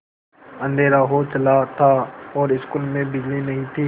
अँधेरा हो चला था और स्कूल में बिजली नहीं थी